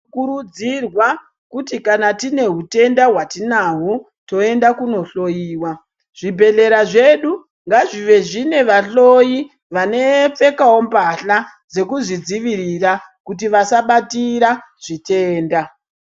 Tinokurudzirwa kuti kana tiine hutenda hwatinawo tinoenda kunohloyiwa zvibhedhlera zvedu ngazvive zviine vahloyi vanopfekawo mbatya dzekuzvidzivirira kuti vasabatira zvitenda .